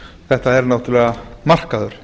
þetta er náttúrlega markaður